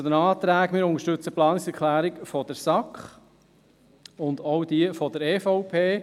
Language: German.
Zu den Anträgen: Wir unterstützen die Planungserklärung der SAK und auch jene der EVP.